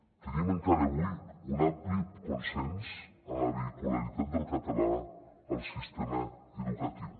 tenim encara avui un ampli consens en la vehicularitat del català al sistema educatiu